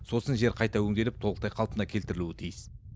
сосын жер қайта өңделіп толықтай қалпына келтірілуі тиіс